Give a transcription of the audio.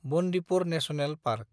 Bandipur national park